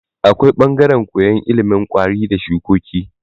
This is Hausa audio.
Akwai bangaran koyan ilimin kwari da shukoki